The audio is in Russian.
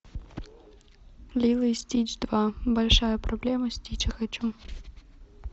лило и стич два большая проблема стича хочу